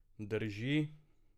Drži?